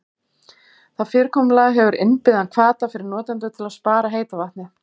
Það fyrirkomulag hefur innbyggðan hvata fyrir notendur til að spara heita vatnið.